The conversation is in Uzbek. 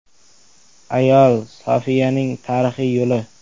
Ayo Sofiyaning tarixiy yo‘li.